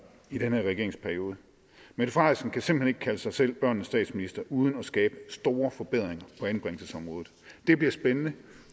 i den her regeringsperiode mette frederiksen kan simpelt hen ikke kalde sig selv børnenes statsminister uden at skabe store forbedringer på anbringelsesområdet det bliver spændende